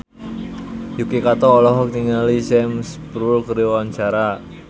Yuki Kato olohok ningali Sam Spruell keur diwawancara